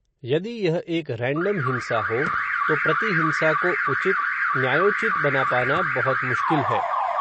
यदि यह एक रैन्डम हिंसा हो, तो प्रति हिंसा को उचित, न्यायोचित, बना पाना, बहुत मुश्किल है